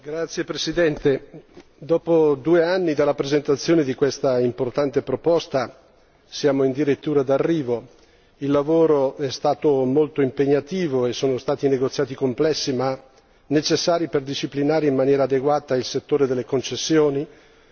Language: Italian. Signor Presidente, onorevoli colleghi, dopo due anni dalla presentazione di questa importante proposta, siamo in dirittura di arrivo. Il lavoro è stato molto impegnativo e sono stati negoziati complessi ma necessari per disciplinare in maniera adeguata il settore delle concessioni,